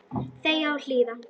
Þegja og hlýða.